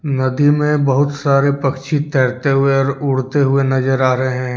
नदी में बहुत सारे पक्षी तैरते हुए और उड़ते हुए नजर आ रहे हैं।